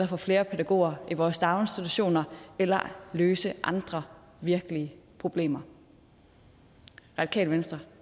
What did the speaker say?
få flere pædagoger i vores daginstitutioner eller løse andre virkelige problemer radikale venstre